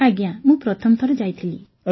ଆଜ୍ଞା ମୁଁ ପ୍ରଥମ ଥର ଯାଇଥିଲି